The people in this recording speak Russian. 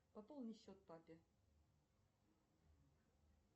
пополни счет папе